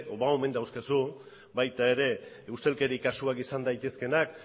ba omen dauzkazu baita ere ustelkeri kasuak izan daitezkeenak